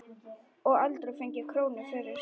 Og aldrei fengið krónu fyrir.